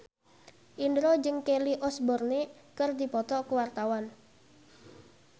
Indro jeung Kelly Osbourne keur dipoto ku wartawan